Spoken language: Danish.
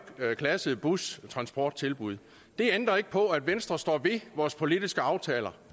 klasse bustransporttilbud det ændrer ikke på at venstre står ved vores politiske aftaler